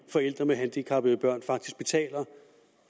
forældre med handicappede børn faktisk betaler